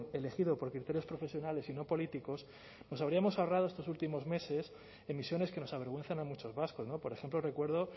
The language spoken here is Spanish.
elegido por criterios profesionales y no políticos nos habríamos ahorrado estos últimos meses emisiones que nos avergüenzan a muchos vascos por ejemplo recuerdo